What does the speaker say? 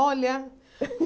Olha!